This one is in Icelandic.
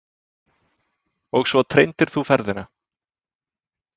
Og svo treindir þú ferðina.